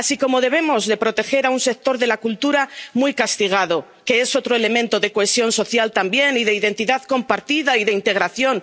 Así como debemos proteger a un sector de la cultura, muy castigado, que es otro elemento de cohesión social también y de identidad compartida y de integración.